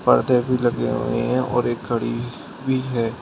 पर्दे भी लगे हुए हैं और एक घड़ी भी है।